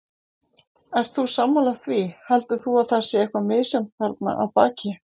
Ert þú sammála því, heldur þú að það sé eitthvað misjafnt þarna að baki?